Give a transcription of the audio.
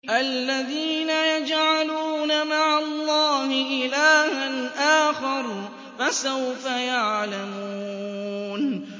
الَّذِينَ يَجْعَلُونَ مَعَ اللَّهِ إِلَٰهًا آخَرَ ۚ فَسَوْفَ يَعْلَمُونَ